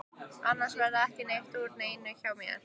Annars verður ekki neitt úr neinu hjá mér.